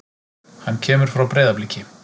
Hann kemur frá Breiðabliki.